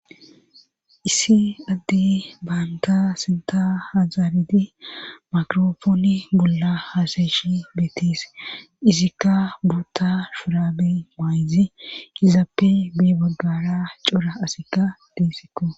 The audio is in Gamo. Issi addi baanta sinta hazaaridi makrofooni golla haasayeshi beetise isikka buutta shuraabe maayzi izaappe bi bogara cora asikka diissikko.